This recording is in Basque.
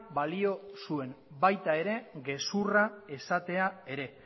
balio zuen baita ere gezurra esatea ere